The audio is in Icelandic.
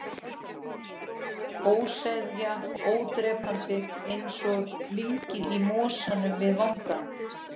Ólseiga, ódrepandi, einsog lyngið í mosanum við vangann.